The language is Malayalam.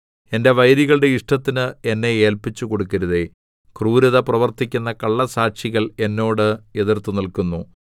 എന്റെ വൈരികളുടെ ഇഷ്ടത്തിന് എന്നെ ഏല്പിച്ചുകൊടുക്കരുതേ ക്രൂരത പ്രവർത്തിക്കുന്ന കള്ളസാക്ഷികൾ എന്നോട് എതിർത്തുനില്ക്കുന്നു